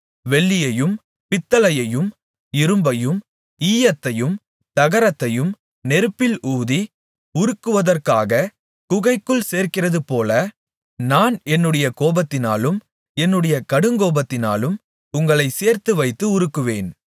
வெள்ளியையும் பித்தளையையும் இரும்பையும் ஈயத்தையும் தகரத்தையும் நெருப்பில் ஊதி உருக்குவதற்காகக் குகைக்குள் சேர்க்கிறதுபோல நான் என்னுடைய கோபத்தினாலும் என்னுடைய கடுங்கோபத்தினாலும் உங்களைச் சேர்த்துவைத்து உருக்குவேன்